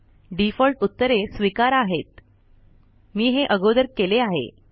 default उत्तरे स्वीकार आहेत मी हे अगोदर केले आहे